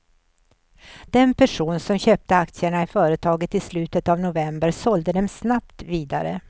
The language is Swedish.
Den person som köpte aktierna i företaget i slutet av november sålde dem snabbt vidare.